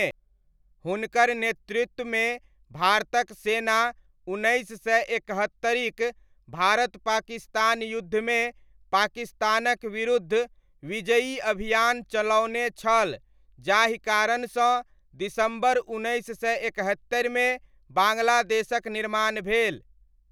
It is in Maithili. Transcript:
हुनकर नेतृत्वमे भारतक सेना उन्कनैस सय एकहत्तरिक भारत पाकिस्तान युद्धमे पाकिस्तानक विरुद्ध विजयी अभियान चलओने छल जाहि कारणसँ दिसम्बर उन्नैस सय एकहत्तरिमे, बाङ्ग्लादेशक निर्माण भेल।